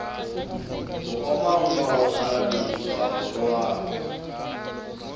ho omanngwa hokgarametswa ho rohakwa